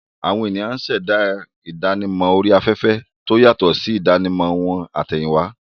Àwọn ènìyàn ṣẹ̀dá ìdánimọ̀ orí afẹ́fẹ́ tó yàtọ̀ sí ìdánimọ̀ wọn àtẹ̀yìnwá.